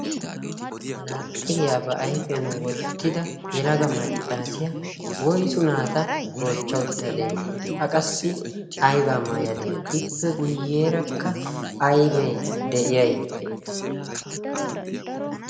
manaaxxiriyaa ba ayfiyan wottida yalaga maccaasiya woysu naata goochcha uttadee a qassi aybaa maayadee ippe guyyeerakka aybee de'iyay